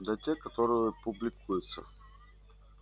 да те которые публикуются